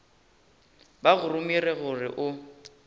ba go romile gore o